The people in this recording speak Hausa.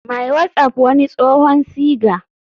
My whatsapp wani tsohon siga.